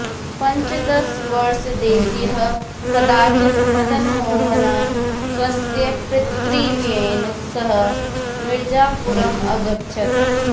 पञ्चदशवर्षदेशीयः कदाचित् मदनमोहनः स्वस्य पितृव्येन सह मिरजापुरम् अगच्छत्